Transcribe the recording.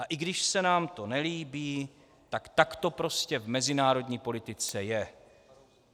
A i když se nám to nelíbí, tak to prostě v mezinárodní politice je.